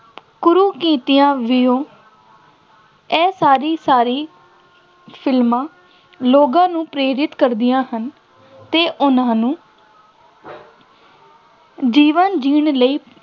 ਕੁਰੀਤੀਆਂ ਇਹ ਸਾਰੀ ਸਾਰੀ ਫਿਲਮਾਂ ਲੋਕਾਂ ਨੂੰ ਪ੍ਰੇਰਿਤ ਕਰਦੀਆਂ ਹਨ ਅਤੇ ਉਹਨਾ ਨੂੰ ਜੀਵਨ ਜਿਉਣ ਲਈ